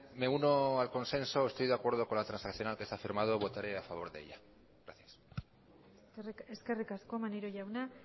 me uno al consenso estoy de acuerdo con la transaccional que se ha firmado votaré a favor de ella gracias eskerrik asko maneiro jauna